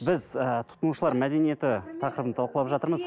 біз ы тұтынушылар мәдениеті тақырыбын талқылап жатырмыз